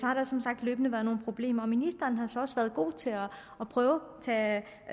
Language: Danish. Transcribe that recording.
har der som sagt løbende været nogle problemer og ministeren har så også været god til at prøve at